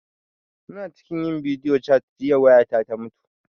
Muna cikin yin bidiyo cat jiya waya ta ta mutu